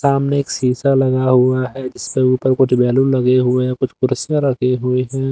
सामने एक शीशा लगा हुआ है जिसके ऊपर कुछ बैलून लगे हुए है कुछ कुर्सियां रखी हुई है।